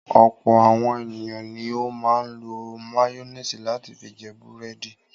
Ọ̀pọ̀ àwọn ènìyàn ni ó máa ń lo máyónísì láti fi jẹ búrẹ́dì.